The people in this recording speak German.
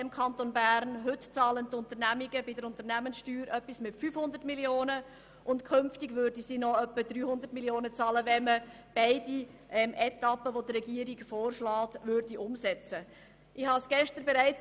Heute bezahlen die Unternehmungen rund 500 Mio. Franken Unternehmenssteuer, und künftig würden sie noch etwa 300 Mio. Franken bezahlen, sofern man die beiden von der Regierung vorgeschlagenen Etappen umsetzt.